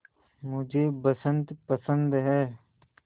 मुझे बसंत पसंद है